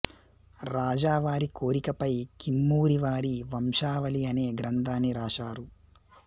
రాజా వారి కోరికపై కిమ్మూరివారి వంశావళి అనే గ్రంథాన్ని రాశారు